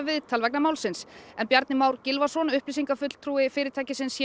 viðtal vegna málsins en Bjarni Már Gylfason upplýsingafulltrúi fyrirtækisins